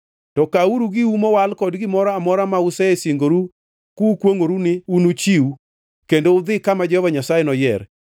To kawuru giu mowal kod gimoro amora ma usesingoru kukwongʼoru ni unuchiw kendo udhi kama Jehova Nyasaye noyier.